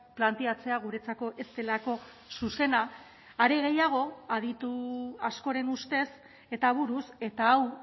planteatzea guretzako ez delako zuzena are gehiago aditu askoren ustez eta buruz eta hau